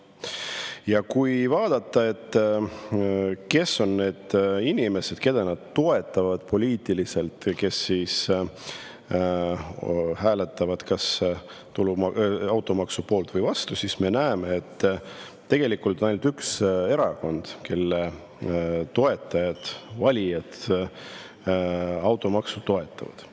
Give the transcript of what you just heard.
Ja kui vaadata, kes on need inimesed, keda nad toetavad poliitiliselt, hääletades kas automaksu poolt või vastu, siis me näeme, et tegelikult on ainult üks erakond, kelle toetajad, valijad automaksu toetavad.